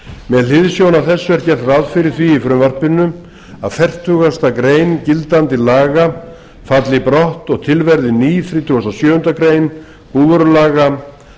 með hliðsjón af þessu er gert ráð fyrir því í frumvarpinu að fertugasta grein gildandi laga aldri brott og til verði ný þrítugasta og sjöundu greinar búvörulaga